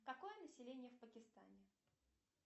какое население в пакистане